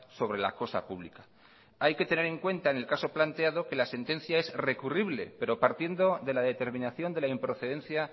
sobre la cosa pública hay que tener en cuenta en el caso planteado que la sentencia es recurrible pero partiendo de la determinación de la improcedencia